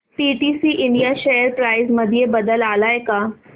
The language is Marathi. पीटीसी इंडिया शेअर प्राइस मध्ये बदल आलाय का